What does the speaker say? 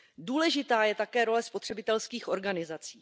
Důležitá je také role spotřebitelských organizací.